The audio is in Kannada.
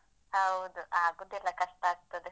ಹೌದು. ಆಗುದಿಲ್ಲ ಕಷ್ಟ ಆಗ್ತದೆ.